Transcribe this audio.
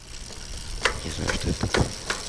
не знаю что это такое